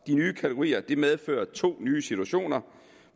nye kategorier medfører to nye situationer